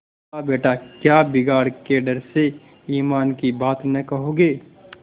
खालाबेटा क्या बिगाड़ के डर से ईमान की बात न कहोगे